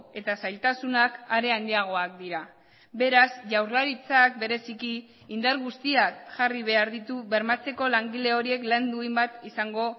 eta zailtasunak are handiagoak dira beraz jaurlaritzak bereziki indar guztiak jarri behar ditu bermatzeko langile horiek lan duin bat izango